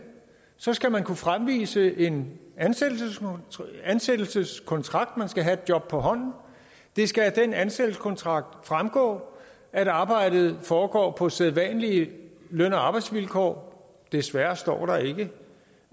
skal man kunne fremvise en ansættelseskontrakt ansættelseskontrakt man skal have et job på hånden det skal af den ansættelseskontrakt fremgå at arbejdet foregår på sædvanlige løn og arbejdsvilkår desværre står der ikke